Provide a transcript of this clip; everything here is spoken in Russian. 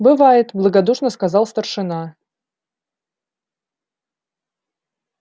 бывает благодушно сказал старшина